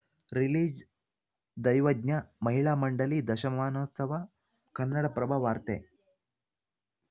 release ದೈವಜ್ಞ ಮಹಿಳಾ ಮಂಡಳಿ ದಶಮಾನೋತ್ಸವ ಕನ್ನಡಪ್ರಭ ವಾರ್ತೆ